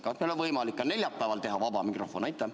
Kas meil on võimalik ka neljapäeval teha vaba mikrofon?